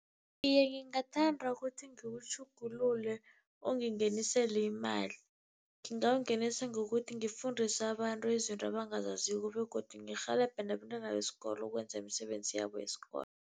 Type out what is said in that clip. Iye, ngingathanda ukuthi ngiwutjhugulule ungingenisele imali. Ngingawungenisa ngokuthi ngifundise abantu izinto abangazaziko begodu ngirhelebhe nabentwana besikolo ukwenza imisebenzi yabo yesikolo.